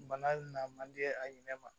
Bana na man di a ɲinɛ ma